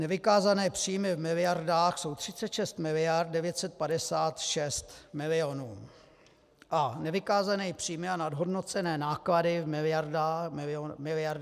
Nevykázané příjmy v miliardách jsou 36 miliard 956 milionů a nevykázané příjmy a nadhodnocené náklady v miliardách 56 miliard 749 milionů.